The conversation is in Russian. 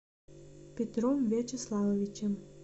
петром вячеславовичем